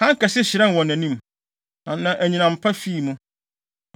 Hann kɛse hyerɛn wɔ nʼanim, na anyinam pa fii mu.